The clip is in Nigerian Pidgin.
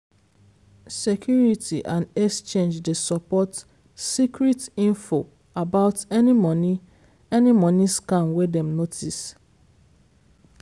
security and exchange dey support secret info about any money any money scam wey dem notice